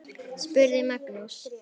spurði Magnús.